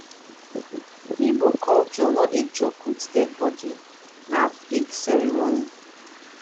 igbo culture no dey joke with dead body na big ceremony.